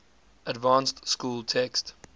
advanced school text